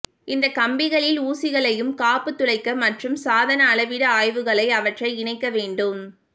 இந்த கம்பிகளில் ஊசிகளையும் காப்பு துளைக்க மற்றும் சாதன அளவிடும் ஆய்வுகளை அவற்றை இணைக்க வேண்டும்